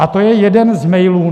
A to je jeden z mailů.